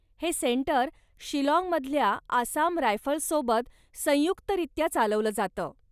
हे सेंटर शिलाँगमधल्या आसाम रायफल्ससोबत संयुक्तरित्या चालवलं जातं.